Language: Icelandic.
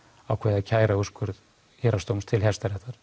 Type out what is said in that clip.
ákveðið að kæra úrskurð Héraðsdóms til Hæstaréttar